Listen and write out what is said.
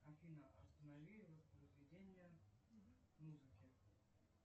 афина останови воспроизведение музыки